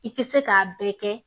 I tɛ se k'a bɛɛ kɛ